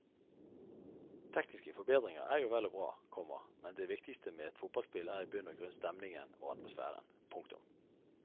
Tekniske forbedringer er jo vel og bra, komma men det viktigste med et fotballspill er i bunn og grunn stemningen og atmosfæren. punktum